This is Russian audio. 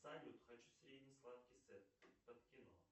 салют хочу средний сладкий сет под кино